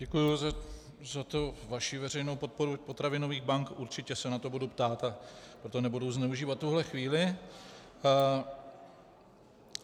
Děkuji za vaši veřejnou podporu potravinových bank, určitě se na to budu ptát a pro to nebudu zneužívat tuhle chvíli.